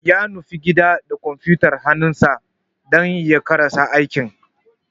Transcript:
Ya nufi gida da kwamfuyutar hannunsa dan ya karasa aikin.